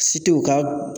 Si tɛ u ka